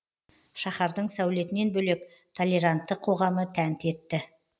шаһардың сәулетінен бөлек толерантты қоғамы тәнті етті